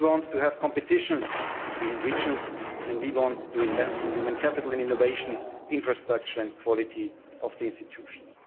We want to have competition between regions, and we want to invest in human capital and innovation, infrastructure and quality of the institutions.